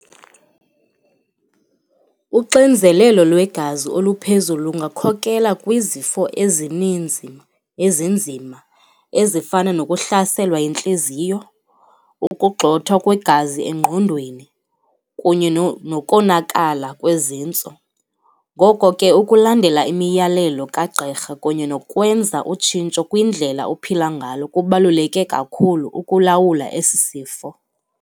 Uxinzelelo lwegazi oluphezulu lungakhokela kwizifo ezininzi ezinzima ezifana nokuhlaselwa yintliziyo, ukugxothwa kwegazi engqondweni kunye nokonakala kwezintso. Ngoko ke ukulandela imiyalelo kagqirha kunye nokwenza utshintsho kwindlela ophila ngalo kubaluleke kakhulu ukulawula esi sifo.